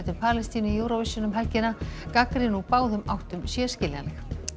Palestínu í Eurovision um helgina gagnrýni úr báðum áttum sé skiljanleg